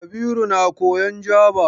Kabiru na koyan Jaba ne?